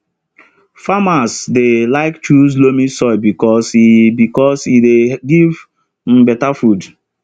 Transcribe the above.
farmers dey like choose loamy soil because e because e dey give um better food